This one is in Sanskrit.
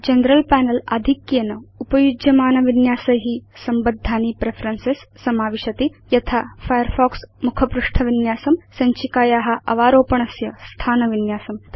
जनरल पनेल आधिक्येन उपयुज्यमानविन्यासै संबद्धानि प्रेफरेन्सेस् समाविशति यथा फायरफॉक्स मुखपृष्ठ विन्यासं सञ्चिकाया अवारोपणस्य स्थान विन्यासम्